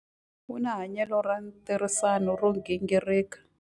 U na hanyelo ra ntirhisano ro gingirika.